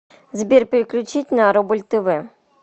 сбер переключить на рубль тв